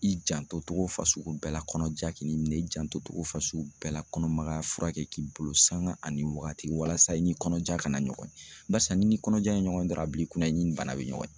I janto togo fasugu bɛɛ la kɔnɔja k'i ni minɛ, i janto togo fasugu bɛɛ la kɔnɔmaya furakɛ k'i bolo sanga ani waagati walasa i ni kɔnɔja kana ɲɔgɔn ye, barisa ni kɔnɔjan ye ɲɔgɔn dɔrɔn a a bila i kunna i ni nin bana bɛ ɲɔgɔn ye.